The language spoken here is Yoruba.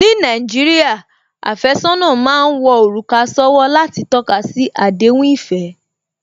Ní Nàìjíríà, àfẹ́sọ́nà má ń wọ òrùka sówó láti tọ́kasi àdéhùn ìfẹ́